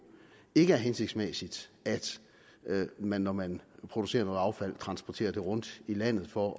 ikke hensigtsmæssigt at man når man producerer noget affald transporterer det rundt i landet for